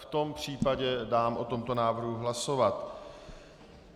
V tom případě dám o tomto návrhu hlasovat.